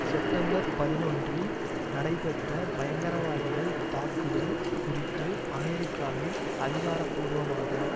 September பதினொன்றில் நடைபெற்ற பயங்கரவாதிகள் தாக்குதல் குறித்து அமெரிக்காவில் அதிகாரபூர்வமாக